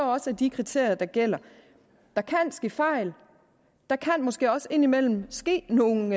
også de kriterier der gælder der kan ske fejl og der kan måske også indimellem ske nogle